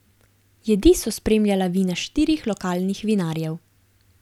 Jedi so spremljala vina štirih lokalnih vinarjev.